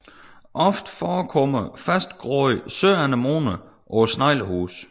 Ofte forekommer fastgroede søanemoner på sneglehuset